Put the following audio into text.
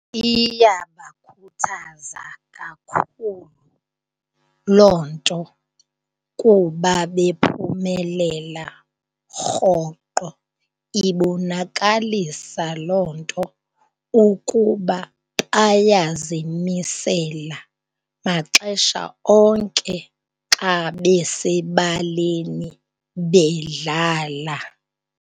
Iyabakhuthaza kakhulu loo nto kuba bephumelela rhoqo. Ibonakalisa loo nto ukuba bayazimisela maxesha onke xa besebaleni bedlala.